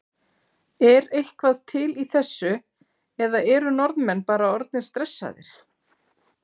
Er eitthvað til í þessu eða eru Norðmenn bara orðnir stressaðir?